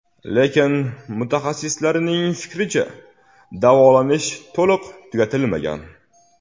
Lekin mutaxassislarning fikricha, davolanish to‘liq tugatilmagan.